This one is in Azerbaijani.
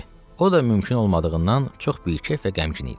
O da mümkün olmadığından çox bikeyf və qəmgin idi.